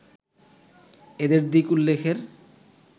এদের দিক উল্লেখের